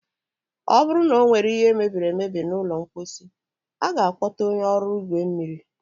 ọ bụrụ na ọ nwere ihe mebiri emebi n'ụlọ mkposi, a ga-akpọta onye ọrụ igwe mmiri.